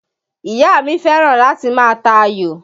Ìyá mi fẹ́ràn láti má ta ayò